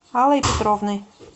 аллой петровной